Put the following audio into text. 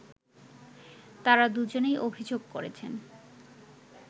তারা দুজনেই অভিযোগ করেছেন